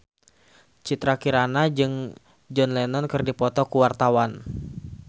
Citra Kirana jeung John Lennon keur dipoto ku wartawan